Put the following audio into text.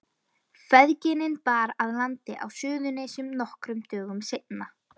Feðginin bar að landi á Suðurnesjum nokkrum dögum seinna.